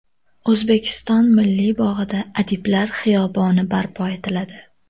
O‘zbekiston Milliy bog‘ida Adiblar xiyoboni barpo etiladi.